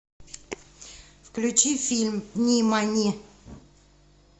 включи фильм нимани